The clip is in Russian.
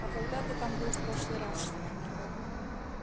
а когда ты там был в прошлый раз